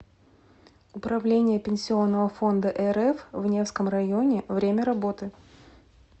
управление пенсионного фонда рф в невском районе время работы